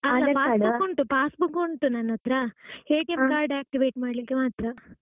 passbook ಉಂಟು ನನ್ನತ್ರ card activate ಮಾಡ್ಲಿಕ್ಕೆ ಮಾತ್ರ.